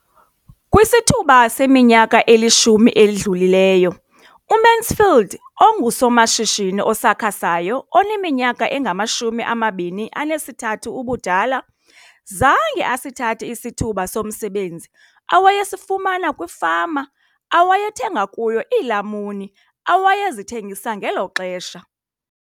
Kwisithuba seminyaka elishumi edlulileyo, uMansfield ongusomashishini osakhasayo oneminyaka engama-23 ubudala, zange asithathe isithuba somsebenzi awayesifumana kwifama awayethenga kuyo iilamuni awayezithengisa ngelo xesha.